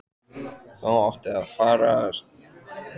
þá átti að svara: þá fæddist Jesús.